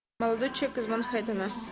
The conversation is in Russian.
молодой человек из манхэттена